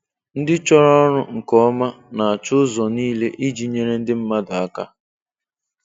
Ndị chọrọ ọrụ nke ọma, na-achọ ụzọ niile iji nyere ndị mmadụ aka.